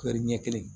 ɲɛ kelen